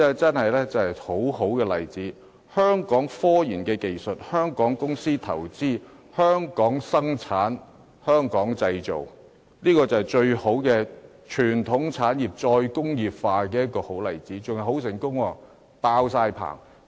這是一宗很好的例子，採用香港科研技術、香港公司投資、香港生產及香港製造，是傳統產業"再工業化"的最佳例子，而且還很成功，已有訂單。